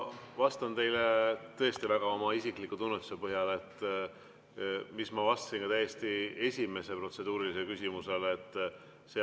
Ma vastan teile tõesti väga oma isikliku tunnetuse põhjal, nagu ma vastasin ka täiesti esimesele protseduurilisele küsimusele.